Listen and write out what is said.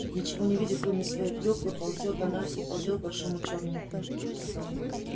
ничего не видя кроме своей клюквы ползёт она и ползёт к большому чёрному пню